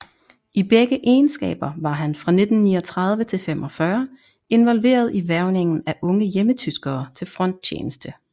I begge egenskaber var han fra 1939 til 45 involveret i hvervningen af unge hjemmetyskere til fronttjeneste